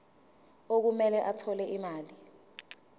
okumele athole imali